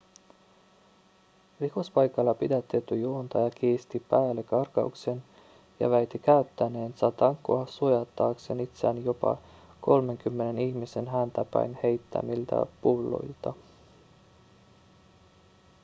rikospaikalla pidätetty juontaja kiisti päällekarkauksen ja väitti käyttäneensä tankoa suojatakseen itseään jopa kolmenkymmenen ihmisen häntä päin heittämiltä pulloilta